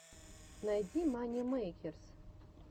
найди мани мэйкерс